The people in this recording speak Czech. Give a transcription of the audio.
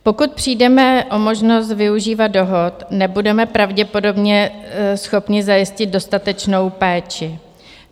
Pokud přijdeme o možnost využívat dohod, nebudeme pravděpodobně schopni zajistit dostatečnou péči.